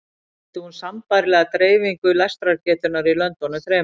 Sýndi hún sambærilega dreifingu lestrargetunnar í löndunum þremur.